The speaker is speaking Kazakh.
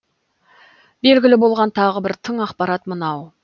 белгілі болған тағы бір тың ақпарат мынау